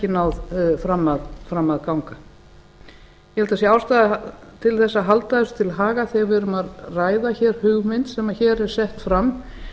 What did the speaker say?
náð fram að ganga ég held að það sé ástæða til þess að halda þessu til haga þegar við erum að ræða hér hugmynd sem hér er sett fram